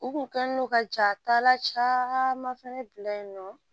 U kun kɛn don ka jatala caman fɛnɛ bila yen nɔ